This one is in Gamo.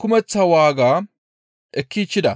kumeththa waaga ekkichchida.